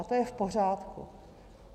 A to je v pořádku.